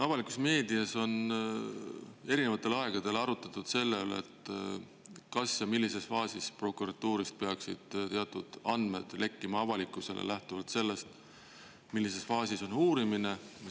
Avalikus meedias on erinevatel aegadel arutatud selle üle, kas ja millises faasis prokuratuurist peaksid teatud andmed lekkima avalikkusele lähtuvalt sellest, millises faasis on uurimine.